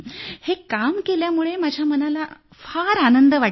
हे काम केल्यामुळं माझ्या मनाला फार आनंद वाटला